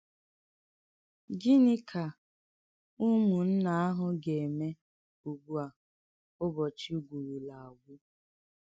Gịnị́ kà ùmùnnà àhụ̀ gà-èmè ùgbú à, ùbọ̀chì gwùrùlà àgwụ̀?